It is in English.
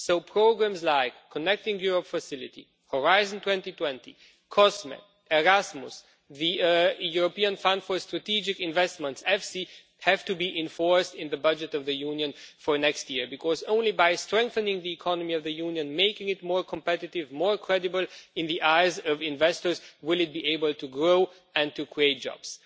So programmes like the Connecting Europe Facility, Horizon 2020, COSME, Erasmus, the European Fund for Strategic Investments have to be enforced in the budget of the Union for next year, because it is only by strengthening the economy of the Union and making it more competitive and more credible in the eyes of investors that it will be able to grow and create jobs.